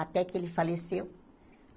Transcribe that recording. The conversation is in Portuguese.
Até que ele faleceu.